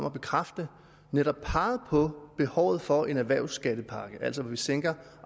at bekræfte netop peget på behovet for en erhvervsskattepakke altså at man sænker